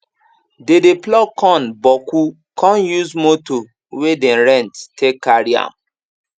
dey dey pluck corn boku con use motor wey dem rent take carry am